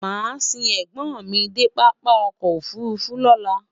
màá sìn ègbón mí dé pápá ọkọ̀ òfurufú lọ́la